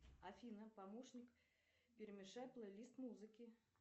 афина помощник перемешай плей лист музыки